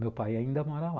Meu pai ainda mora lá.